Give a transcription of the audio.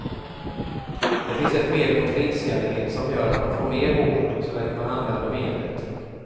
Det finns ett medel mot flintskallighet som gör att man får mer hår, så länge man använder medlet.